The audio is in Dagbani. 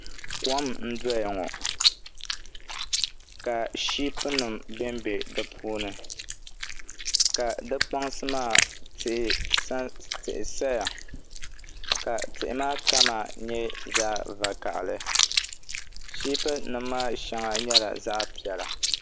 Kom n doya ŋo ka shiipi nim bɛnbɛ di puuni ka di kpaŋsi maa tihi saya ka tihi maa kama nyɛ zaɣ vakaɣali shiipi nim maa shɛŋa nyɛla zaɣ piɛla